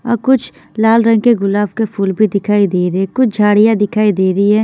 और कुछ लाल रंग के गुलाब के फूल भी दिखाई दे रहे हैं कुछ झाड़ियां दिखाई दे रही है।